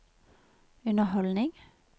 underholdning